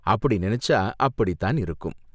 அப்படி நினைச்சா அப்படிதான் இருக்கும்.